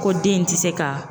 Ko den in tɛ se ka